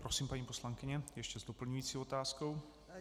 Prosím, paní poslankyně, ještě s doplňující otázkou.